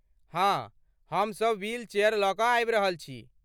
हाँ, हमसब व्हीलचेयर लऽ कऽ आबि रहल छी।